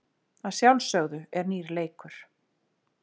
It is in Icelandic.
Að sjálfsögðu er nýr leikur.